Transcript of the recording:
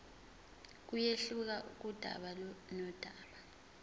kuyehluka kudaba nodaba